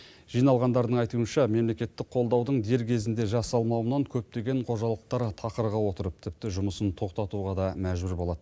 жиналғандардың айтуынша мемлекеттік қолдаудың дер кезінде жасалмауынан көптеген қожалықтар тақырға отырып тіпті жұмысын тоқтатуға да мәжбүр болады